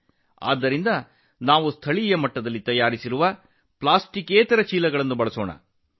ಆದ್ದರಿಂದ ನಾವು ಸ್ಥಳೀಯವಾಗಿ ತಯಾರಿಸಿದ ಪ್ಲಾಸ್ಟಿಕ್ಯೇತರ ಚೀಲಗಳನ್ನು ಮಾತ್ರ ಬಳಸಬೇಕು